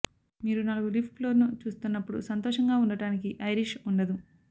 మీరు నాలుగు లీఫ్ క్లోవర్ను చూస్తున్నప్పుడు సంతోషంగా ఉండటానికి ఐరిష్ ఉండదు